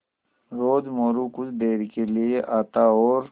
रोज़ मोरू कुछ देर के लिये आता और